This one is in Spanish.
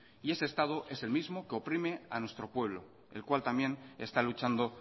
y ese estado es el mismo que oprime a nuestro pueblo el cual también está luchando